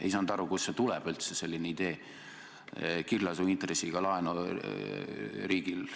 Ei saanud aru, kust selline kiirlaenuintressi idee üldse tuleb.